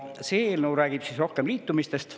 See eelnõu räägib rohkem liitumistest.